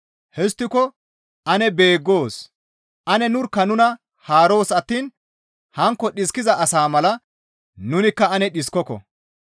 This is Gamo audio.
Histtiko ane beeggoos; ane nurkka nuna haaroos attiin hankko dhiskiza asaa mala nunikka ane dhiskokko.